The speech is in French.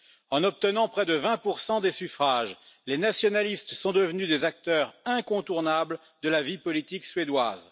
En obtenant près de 20 des suffrages, les nationalistes sont devenus des acteurs incontournables de la vie politique suédoise.